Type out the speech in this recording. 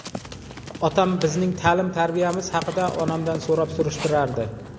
Otam bizning ta’lim-tarbiyamiz haqida onamdan so‘rab-surishtirardi.